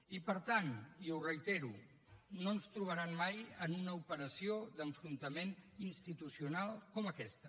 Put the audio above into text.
i per tant i ho reitero no ens trobaran mai en una operació d’enfrontament institucional com aquesta